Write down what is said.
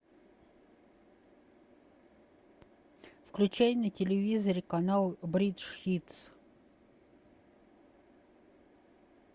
включай на телевизоре канал бридж хитс